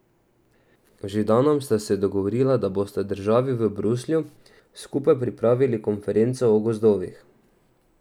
Z Židanom sta se dogovorila, da bosta državi v Bruslju skupaj pripravili konferenco o gozdovih.